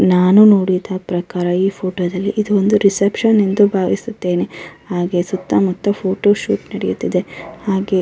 ನಾನು ನೋಡಿದ ಪ್ರಕಾರ ಈ ಫೊಟೊ ದಲ್ಲಿ ಇದು ಒಂದು ರಿಸೆಪ್ಶನ್ ಎಂದು ಭಾವಿಸುತ್ತೇನೆ ಹಾಗೆ ಸುತ್ತ ಮುತ್ತ ಫೋಟೋಶೂಟ್ ನಡೆಯುತ್ತಿದೆ ಹಾಗೆ --